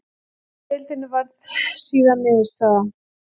Annað sæti í deildinni varð síðan niðurstaða.